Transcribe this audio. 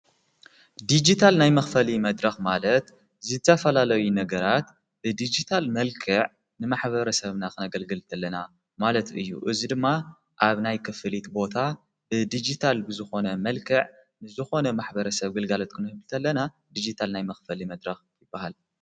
ዲጅታል ናይ መኽፈሊ መድረኽ ማለት ዝተፈላለይ ነገራት ብዲጅታል መልከዕ ንማኅበረ ሰብናኽነገልግል እንተለና ማለት እዩ እዙ ድማ ኣብ ናይ ክፍሊት ቦታ ብዲጅታል ብዝኾነ መልከዕ ንዝኾነ ማኅበረ ሰብ ግልጋለት ክንህብልንተ ኣለና ዲጅታል ናይ መኽፈል መድረኽ ይበሃል::